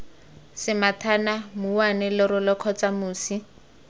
semathana mouwane lerole kgotsa mosi